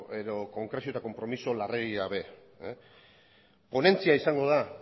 edo konkrezio eta konpromiso larregi gabe ponentzia izango da